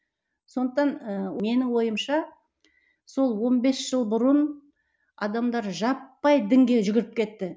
сондықтан ыыы менің ойымша сол он бес жыл бұрын адамдар жаппай дінге жүгіріп кетті